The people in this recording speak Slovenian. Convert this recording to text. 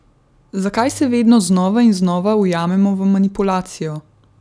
Zakaj se vedno znova in znova ujamemo v manipulacijo?